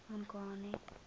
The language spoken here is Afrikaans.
mongane